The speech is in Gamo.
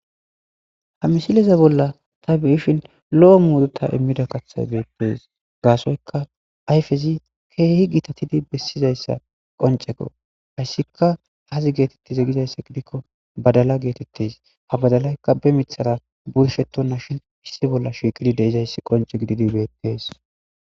Haa missileza bolla taa be'ashshinn loo muruta immida kaththayi betees.gassoyikka ayifezzi kehi gitatidd besizayiss qonccekko.hayisskka azzi getetiz Gizayissa gikko badala betettes.ha badalayikka be miththara burishshetonnashin issi bolla de'izayissi qoncce gididi betees.